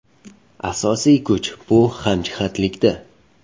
Asosiy kuch bu hamjihatlikda.